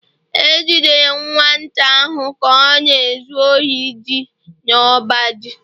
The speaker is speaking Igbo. E jidere nwata ahụ ka ọ na-ezu ohi ji n’ọba ji